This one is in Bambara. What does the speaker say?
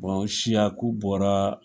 siyaku bɔraa